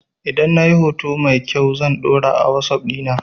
Idan na yi hoto mai kyau can ɗora a wasuf dina